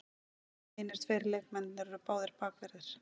Hinir tveir leikmennirnir eru báðir bakverðir